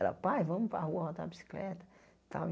Ela, pai, vamos para a rua rodar bicicleta sabe.